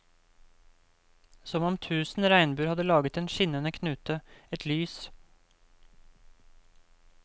Som om tusen regnbuer hadde laget en skinnende knute, et lys.